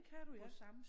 Det kan du ja